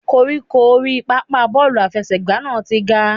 Koríko orí pápá bọ́ọ̀lù àfẹsẹ̀gbá náà ti ga.